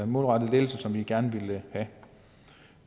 målrettet lettelse som vi gerne vil have